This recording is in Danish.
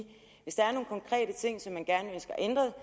vi hvis der er nogle konkrete ting som man ønsker ændret